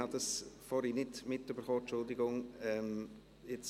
Ich habe das nicht mitbekommen, entschuldigen Sie bitte.